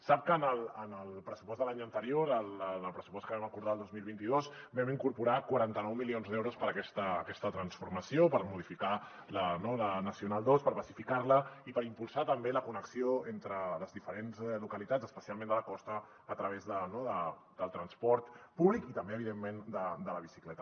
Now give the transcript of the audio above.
sap que en el pressupost de l’any anterior el pressupost que vam acordar el dos mil vint dos hi vam incorporar quaranta nou milions d’euros per a aquesta transformació per modificar la nacional ii per pacificar la i per impulsar també la connexió entre les diferents localitats especialment de la costa a través del transport públic i també evidentment de la bicicleta